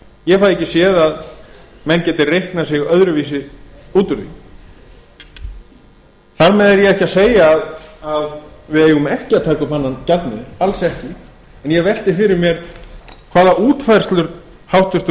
ég fæ ekki séð að menn geti reiknað sig öðruvísi út úr því þar með er ég ekki að segja að við eigum ekki að taka upp annan gjaldmiðil alls ekki en ég velti fyrir mér hvaða útfærslur háttvirtur